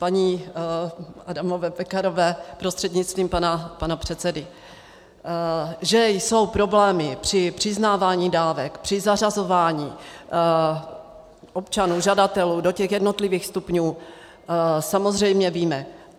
Paní Adamové Pekarové prostřednictvím pana předsedy: Že jsou problémy při přiznávání dávek, při zařazování občanů žadatelů do těch jednotlivých stupňů, samozřejmě víme.